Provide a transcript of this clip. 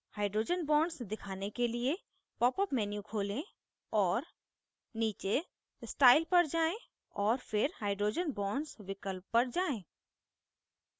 hydrogen bonds दिखाने के लिए: popअप menu खोलें और नीचे style पर जाएँ और फिर hydrogen bonds विकल्प पर जाएँ